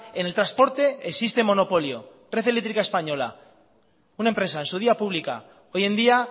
en el transporte existe monopolio red eléctrica española una empresa en su día pública hoy en día